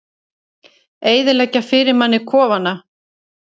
Eyðileggja fyrir manni kofana!